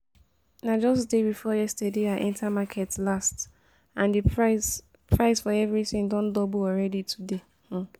Na just day before yesterday I enter market last and the price price for everything don double already today